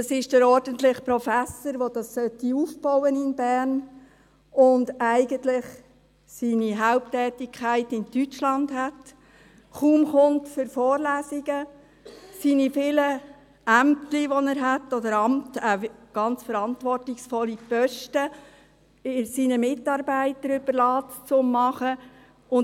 Das ist, dass der ordentliche Professor, der dieses in Bern aufbauen sollte und eigentlich seine Haupttätigkeit in Deutschland hat, kaum für Vorlesungen kommt und seine vielen Ämtchen, die er hat, oder Ämter, ganz verantwortungsvolle Posten, seinen Mitarbeitern zum Bearbeiten überlässt.